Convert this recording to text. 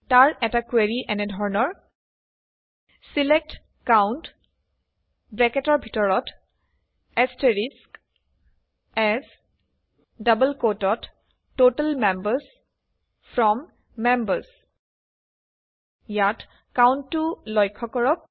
তাৰ এটা কুৱেৰি এনে ধৰণৰ ছিলেক্ট COUNT এএছ ততাল মেম্বাৰ্ছ ফ্ৰম মেম্বাৰ্ছ ইয়াত COUNT টো লক্ষ্য কৰক